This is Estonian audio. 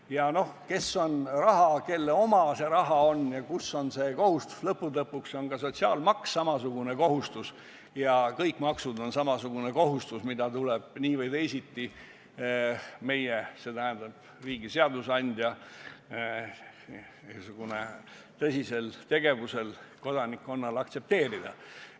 Ja noh, kui küsida, kelle oma see raha on ja kus on see kohustus, siis lõppude lõpuks on ka sotsiaalmaks samasugune kohustus ja kõik maksud on samasugune kohustus, mida tuleb nii või teisiti riigi seadusandja tõsisel soovil kodanikkonnal aktsepteerida.